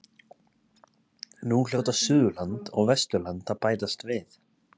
Nú hljóta Suðurland og Vesturland að bætast við.